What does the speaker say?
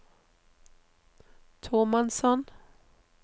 tomannshånd